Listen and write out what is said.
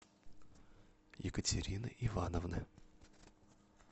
екатерины ивановны